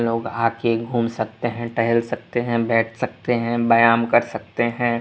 लोग आ के घूम सकते हैं टहल सकते हैं बैठ सकते हैं व्यायाम कर सकते हैं।